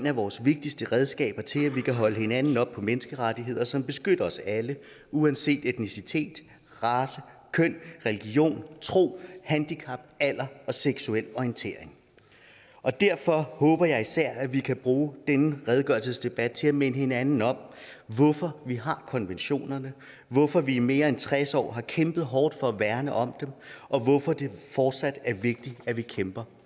af vores vigtigste redskaber til at vi kan holde hinanden op på menneskerettigheder som beskytter os alle uanset etnicitet race køn religion tro handicap alder og seksuel orientering og derfor håber jeg især at vi kan bruge denne redegørelsesdebat til at minde hinanden om hvorfor vi har konventionerne hvorfor vi i mere end tres år har kæmpet hårdt for at værne om dem og hvorfor det fortsat er vigtigt at vi kæmper